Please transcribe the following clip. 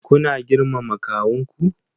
Kuna girmama kawunku?